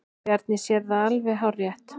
Bjarni segir það alveg hárrétt.